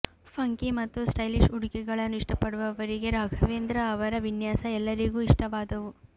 funky ಮತ್ತು stylish ಉಡುಗೆಗಳನ್ನು ಇಷ್ಟಪಡುವವರಿಗೆ ರಾಘವೇಂದ್ರ ಅವರ ವಿನ್ಯಾಸ ಎಲ್ಲರಿಗೂ ಇಷ್ಟವಾದವು